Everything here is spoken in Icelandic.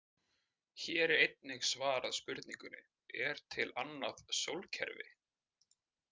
Hér er einnig svarað spurningunni: Er til annað sólkerfi?